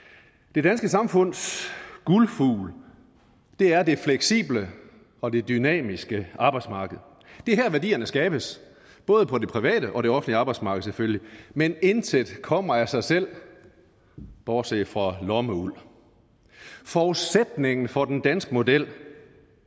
det danske samfunds guldfugl er det fleksible og dynamiske arbejdsmarked det er her værdierne skabes både på det private og det offentlige arbejdsmarked selvfølgelig men intet kommer af sig selv bortset fra lommeuld forudsætningen for den danske model